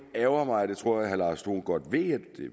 ærgrer mig og det tror jeg at herre lars dohn godt ved at